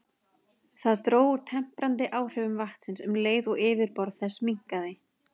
Það dró úr temprandi áhrifum vatnsins um leið og yfirborð þess minnkaði.